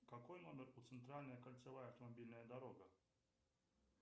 какой номер у центральная кольцевая автомобильная дорога